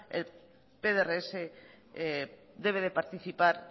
el pdrs debe de participar